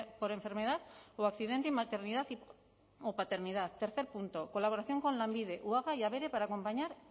por enfermedad o accidente y maternidad o paternidad tercer punto colaboración con lanbide uaga y abere para acompañar